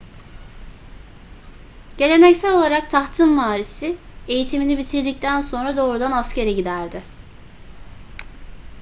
geleneksel olarak tahtın varisi eğitimini bitirdikten sonra doğrudan askere giderdi